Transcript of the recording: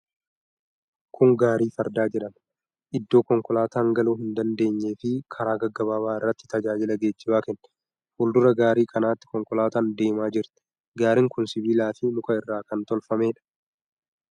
Kun gaarii fardaa jedhama. Iddoo konkolaataan galuu hin dandeenye fi karaa gaggaabaabaa irratti tajaajila geejjibaa kenna. Fuuldura gaarii kanaatti konkolaataan deemaa jirti. Gaariin kun siibiila fi muka irraa kan tolfameedha.